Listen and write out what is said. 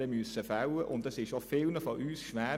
Das Treffen der Entscheidungen fiel vielen von uns schwer.